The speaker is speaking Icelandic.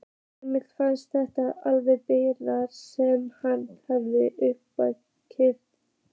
Emil fannst þetta lengsta bið sem hann hafði upplifað.